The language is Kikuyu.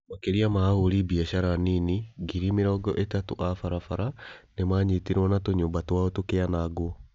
Makĩria ma ahũri biacara anini ngiri mĩrongo ĩtatũ a barabara nĩ maanyitirũo na tũnyũmba twao tũkĩanangwo